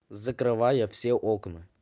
закрывая все окна